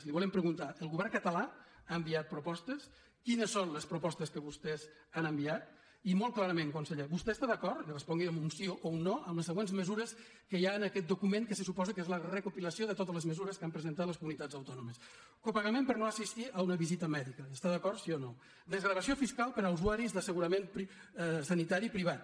li volem preguntar el govern català ha enviat propostes quines són les propostes que vostès han enviat i molt clarament conseller vostè està d’acord i respongui amb un sí o un no amb les següents mesures que hi ha en aquest document que se suposa que és la recopilació de totes les mesures que han presentat les comunitats autònomes copagament per no assistir a una visita mèdica hi està d’acord sí o no desgravació fiscal per a usuaris d’assegurament sanitari privat